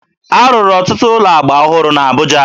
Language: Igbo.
A rụrụ ọtụtụ ụlọ agba ọhụrụ na Abuja